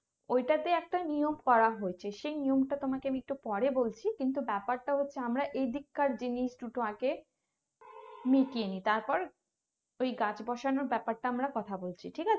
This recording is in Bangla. ওই টাতে একটা নিয়ম করা হয়েছে সেই নিয়ম টা তোমাকে একটু পরে বলছি কিন্তু ব্যাপারটা হচ্ছে আমরা এই দিককার জিনিস দুটো আগে মিটিয়ে নিই তারপর ওই গাছ বসানোর ব্যাপারটা আমরা কথা বলছি ঠিক আছে